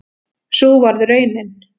Sú varð raunin